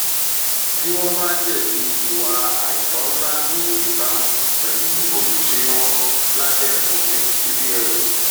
tí wọn bá jẹbi ìwà àìtọ ńlá ní ìbámu pẹlú ojúṣe wọn lábẹ òfin cbn